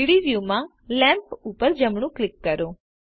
3ડી વ્યુંમાં લેમ્પ પર જમણું ક્લિક કરો